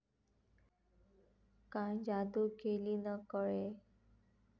काय जादू केली न कळे